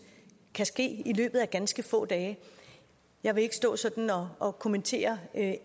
kan ske i løbet af ganske få dage jeg vil ikke stå sådan og og kommentere